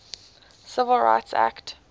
civil rights act